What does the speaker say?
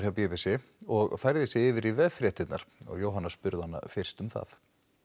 hjá b b c og færði sig yfir í veffréttirnar Jóhanna spurði hana fyrst um það